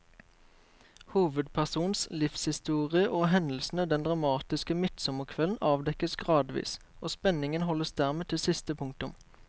Hovedpersonens livshistorie og hendelsene den dramatiske midtsommerkvelden avdekkes gradvis, og spenningen holdes dermed til siste punktum.